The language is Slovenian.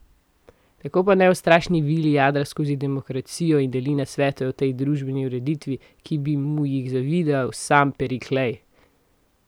Tako pa neustrašni Vili jadra skozi demokracijo in deli nasvete o tej družbeni ureditvi, ki bi mu jih zavidal sam Periklej!